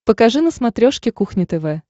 покажи на смотрешке кухня тв